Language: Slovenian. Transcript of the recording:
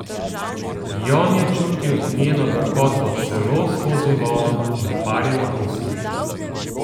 Jon je čutil njeno gorkoto celo skozi volno in parjeno usnje.